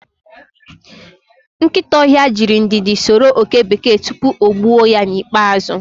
Nkịta ọhịa jirị ndidi soro oke bekee tupu o gbuo ya n'ikpeazụ